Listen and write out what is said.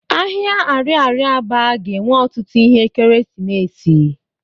Ahịa arịarịa Aba ga-enwe otutu ihe ekeresimesi.